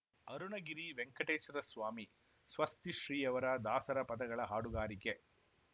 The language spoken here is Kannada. ಅರುಣಗಿರಿ ವೆಂಕಟೇಶ್ವರ ಸ್ವಾಮಿ ಸ್ವಸ್ತಿಶ್ರೀಯವರ ದಾಸರ ಪದಗಳ ಹಾಡುಗಾರಿಕೆ